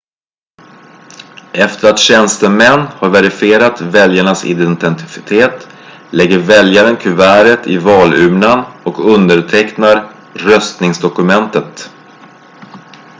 efter att tjänstemän har verifierat väljarens identitet lägger väljaren kuvertet i valurnan och undertecknar röstningsdokumentet